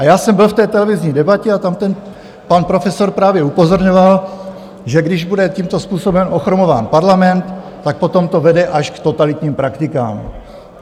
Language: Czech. A já jsem byl v té televizní debatě a tam ten pan profesor právě upozorňoval, že když bude tímto způsobem ochromován parlament, tak potom to vede až k totalitním praktikám.